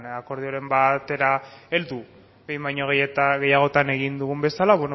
akordioren batera heldu behin baino gehiagotan egin dugun bezala